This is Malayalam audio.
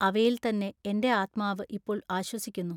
അവയിൽത്തന്നെ എന്റെ ആത്മാവു ഇപ്പോൾ ആശ്വസിക്കുന്നു.